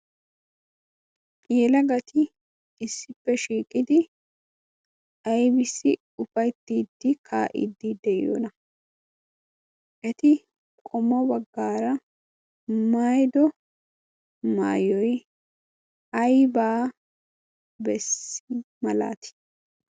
yelagati issippe shiiqidi aybisi ufayttiddi kaa'iddi de'iyoona eti qomo baggaara maydo maayoi aibaa bessi malaati